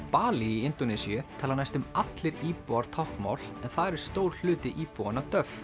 Balí í Indónesíu tala næstum allir íbúar táknmál en þar er stór hluti íbúanna